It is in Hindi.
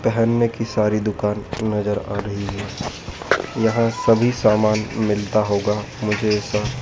पहनने की सारी दुकान नजर आ रही है यहां सभी सामान मिलता होगा मुझे ऐसा--